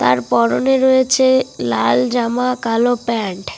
তার পরনে রয়েছে লাল জামা কালো প্যান্ট ।